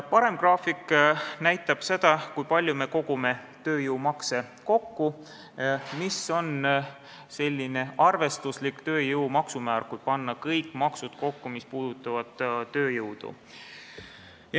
Parempoolne graafik näitab, kui palju me kogume tööjõumakse, mis on selline arvestuslik tööjõu maksumäär, kui panna kokku kõik maksud, mis puudutavad tööjõudu.